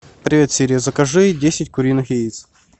привет сири закажи десять куриных яиц